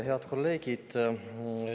Head kolleegid!